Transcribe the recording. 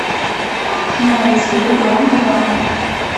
найти дом два